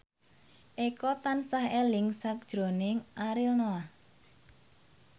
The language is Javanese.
Eko tansah eling sakjroning Ariel Noah